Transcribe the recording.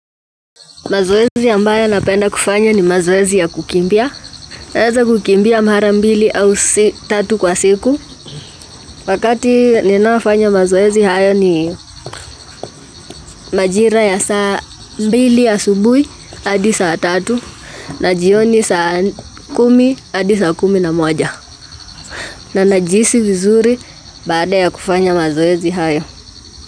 Mazoezi ambayo napenda kufanya ni mazoezi ya kukimbia. Naeza kukimbia mara mbili au tatu kwa siku. Wakati ninaofanya mazoezi haya ni majira ya saa mbili asubuhi hadi saa tatu na jioni saa kumi hadi saa kumi na moja. Na najihisi vizuri baada ya kufanya mazoezi hayo.